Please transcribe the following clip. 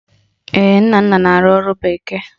Ee, ọ Nnanna na-arụ ọrụ bekee